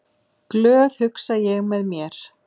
Glöð, hugsa ég með mér.